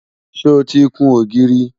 sọ tí kún ògiri?